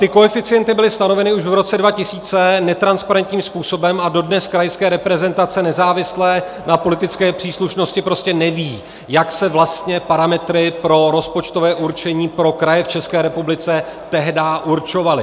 Ty koeficienty byly stanoveny už v roce 2000 netransparentním způsobem a dodnes krajská reprezentace, nezávisle na politické příslušnosti, prostě neví, jak se vlastně parametry pro rozpočtové určení pro kraje v České republice tehdy určovaly.